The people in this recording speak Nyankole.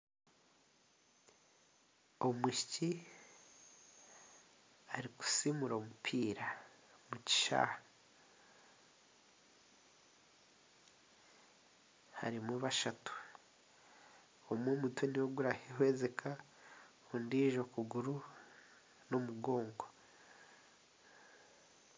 Omwishiki arikusimura omupiira omu kishaayi, harimu bashatu, omwe omutwe nigwe gurarahwezika, ondiijo okuguru n'omugongo.